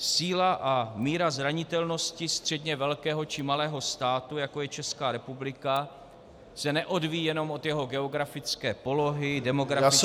Síla a míra zranitelnosti středně velkého či malého státu, jako je Česká republika, se neodvíjí jenom od jeho geografické polohy, demografického vývoje -